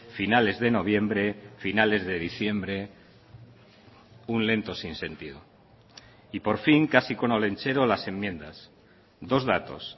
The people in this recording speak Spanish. finales de noviembre finales de diciembre un lento sinsentido y por fin casi con olentzero las enmiendas dos datos